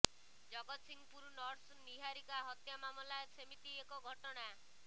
Jagatsinghpur nurse Niharika ହତ୍ୟା ମାମଲା ସେମିତି ଏକ ଘଟଣା